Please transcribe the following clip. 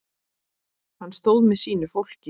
Hann stóð með sínu fólki.